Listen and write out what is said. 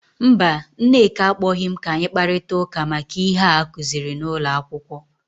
Mba, Nneka akpọghị m ka anyi kparịta ụka maka ihe a akuziri n’ụlọ akwụkwọ.